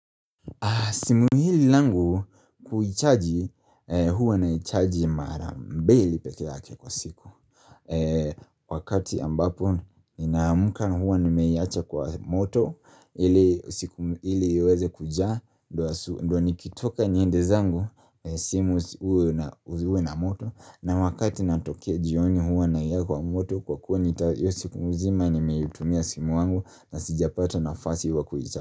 Simu hili langu kuichaji huwa naichaji mara mbili pekee yake kwa siku. Wakati ambapo ninaamuka huwa nimeiacha kwa moto, ili siku ili iweze kujaa ndio asu ndia nikitoka niende zangu, simu uwe uwe na moto, na wakati natokea jioni huwa naeka kwa moto kwa kuwa nita hiyo siku mzima nimeitumia simu wangu na sijapata nafasi wa kuichaji.